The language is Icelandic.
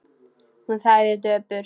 Hún þagði döpur.